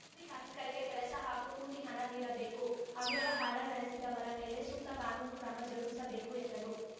ಕೂಲಿ ಕಾರ್ಮಿಕರಿಗೆ ಕೆಲಸ ಹಾಗೂ ಕೂಲಿ ಹಣ ನೀಡಬೇಕು ಅವ್ಯವಹಾರ ನೆಡೆಸಿದವರ ಮೇಲೆ ಸೂಕ್ತ ಕಾನೂನು ಕ್ರಮ ಜರುಗಿಸಬೇಕು ಎಂದರು